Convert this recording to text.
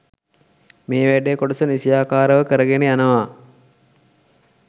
මේ වැඩ කොටස නිසියාකාරව කරගෙන යනවා